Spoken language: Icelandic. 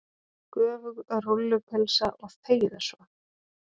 Göfug rúllupylsa og þegiðu svo.